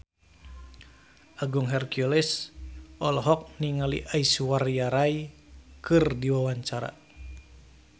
Agung Hercules olohok ningali Aishwarya Rai keur diwawancara